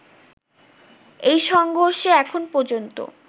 এই সংঘর্ষে এখন পর্যন্ত